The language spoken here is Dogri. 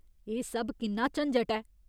एह् सब किन्ना झंजट ऐ।